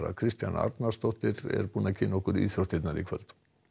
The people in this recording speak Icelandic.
Kristjana Arnarsdóttir er með íþróttirnar í kvöld